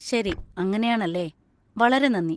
ശരി, അങ്ങനെയാണല്ലേ. വളരെ നന്ദി.